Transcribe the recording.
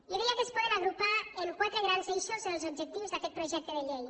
jo diria que es poden agrupar en quatre grans eixos els objectius d’aquest projecte de llei